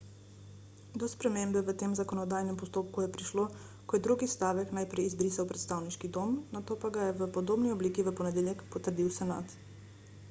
do spremembe v tem zakonodajnem postopku je prišlo ko je drugi stavek najprej izbrisal predstavniški dom nato pa ga je v podobni obliki v ponedeljek potrdil senat